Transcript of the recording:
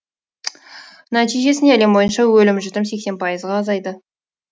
нәтижесінде әлем бойынша өлім жітім сексен пайызға азайды